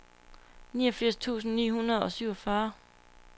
niogfirs tusind ni hundrede og syvogfyrre